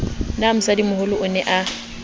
na mosadimoholo o ne a